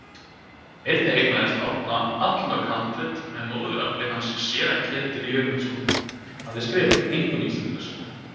Einnig eignaðist Árna allmörg handrit sem móðurafi hans séra Ketill Jörundsson hafði skrifað, einkum Íslendingasögur.